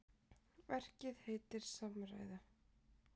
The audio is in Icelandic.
Verkið heitir Samræða.